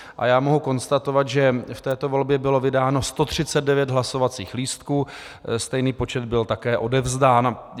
A já mohu konstatovat, že v této volbě bylo vydáno 139 hlasovacích lístků, stejný počet byl také odevzdán.